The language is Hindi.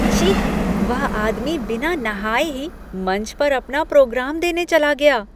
छी! वह आदमी बिना नहाए ही मंच पर अपना प्रोग्राम देने चला गया।